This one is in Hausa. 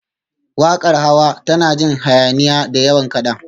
Waƙar Hawa tana jin hayaniya, da yawan kaɗa